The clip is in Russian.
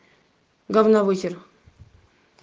говна высер